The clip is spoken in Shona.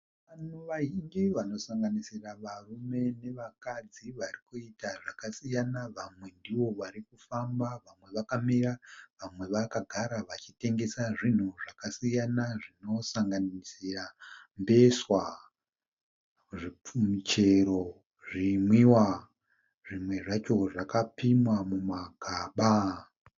Vanhu vazhinji vanosanganisira varume nevakadzi varikuita zvakasiyana vamwe ndovarikufamba, vamwe vakamira, vamwe vakagara vachitengesa zvinhu zvakasiyana zvinosanganisira mbeswa michero, zvinwiwa, zvimwe zvacho zvakapimwa mumagaba.